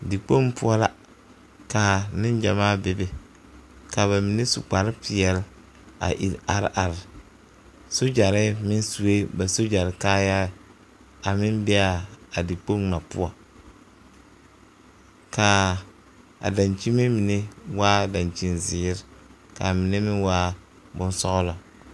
Dikpoŋ poɔ la ka neŋgyamaa be be ka ba mine su kpare peɛla iri are are sogyare meŋ sue ba sogyare kaaya a meŋ be a a dikpoŋ ŋa poɔ ka a dakyini mine waa dakyini zeere ka a mine meŋ waa boŋ sɔglɔ.